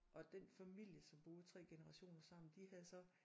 Og den familie som boede 3 generationer sammen de havde så